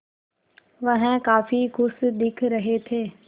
वह काफ़ी खुश दिख रहे थे